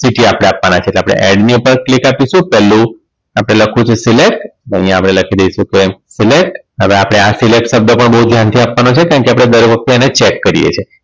City આપણે આપવાના છે એટલે add ની ઉપર click આપીશુ પેલું આપણે લખવું છે select અહીંયા આપણે લખી દઈશું select હવે આપણે આ select શબ્દ બહુ ધ્યાનથી આપવાનો છે કારણ કે દર વખતે એને check કરીએ છીએ